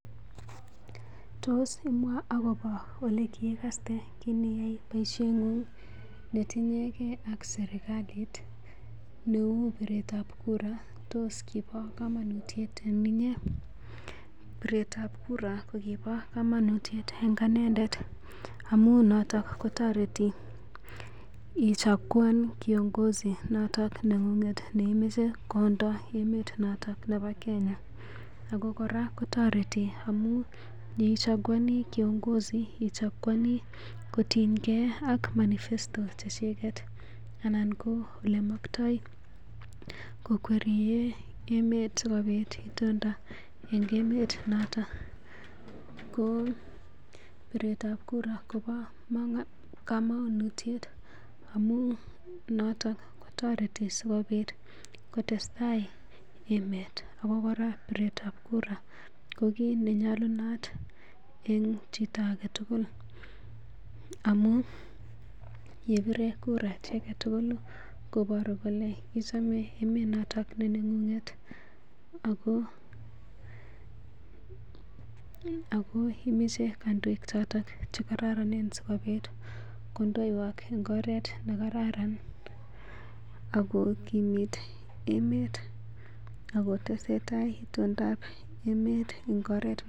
Tos imwaa agobo olikiigaste kiniyai boisiengun ne tinye gee ak sirkalit, ne uu biretab kura? Tos kibo kamanutiet en inyee? Piret ab kura ko kibo komonutiet en anendetamun noto kotoreti ichakuan kiongozi noton neng'ng'et neimoche kondo en emet noto nebo Kenya. Ago kora kotoretoi amun yeichakuani kiongozi ichakuani kotienge ak manifesto che chiget anan ko ole moktoi kokwerie emet sikobit itondo en emet noto ko piretab kura kobo komonutiet amun noto kotoreti sikobit kotestai emet ago kora, piretab kura ko kit ne nyolunot en chito age tugul amun ye bire kura chi age tugul koboru kole ichame emet noto ne nengung'et ago imache kondoik choto che kororonen sikobit kondoiywak en oret nekararan ago kimit emet ago tesentai itondab emet.